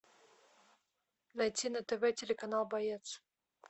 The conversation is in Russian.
найти на тв телеканал боец